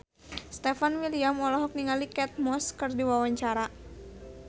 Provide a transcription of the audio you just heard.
Stefan William olohok ningali Kate Moss keur diwawancara